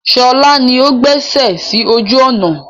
Sọlá ni ó gbé ẹsẹ sì ojú ọnà.